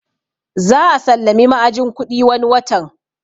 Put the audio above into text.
Za a sallami ma'ajin kuɗi wani watan